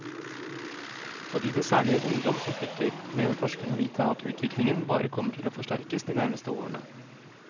Fordi det særlig er ungdom som flytter, mener forskerne å vite at utviklingen bare kommer til å forsterkes de nærmeste årene.